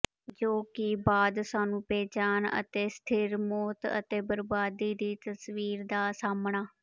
ਜੋ ਕਿ ਬਾਅਦ ਸਾਨੂੰ ਬੇਜਾਨ ਅਤੇ ਸਥਿਰ ਮੌਤ ਅਤੇ ਬਰਬਾਦੀ ਦੀ ਤਸਵੀਰ ਦਾ ਸਾਹਮਣਾ